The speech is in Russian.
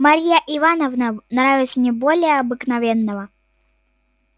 марья ивановна нравилась мне более обыкновенного